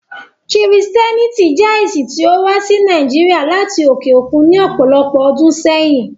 Kristiánìtì jẹ̀ ẹ̀ṣin tí o wà sí Nàìjíríà lati oke okun ní ọpọlọpọ̀ ọdún sẹ̀yin.